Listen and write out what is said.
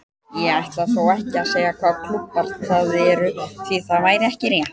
Ég ætla þó ekki að segja hvaða klúbbar það eru því það væri ekki rétt.